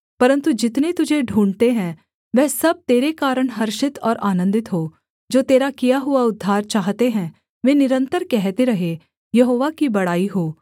परन्तु जितने तुझे ढूँढ़ते हैं वह सब तेरे कारण हर्षित और आनन्दित हों जो तेरा किया हुआ उद्धार चाहते हैं वे निरन्तर कहते रहें यहोवा की बड़ाई हो